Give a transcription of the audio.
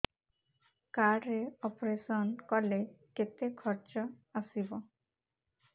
card ରେ operation କଲେ କେତେ ଖର୍ଚ ଆସିବ